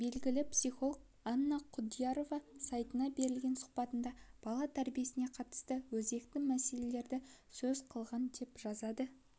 белгілі психолог анна құдиярова сайтына берген сұхбатында бала тәрбиесіне қатысты өзекті мәселелерді сөз қылған деп жазады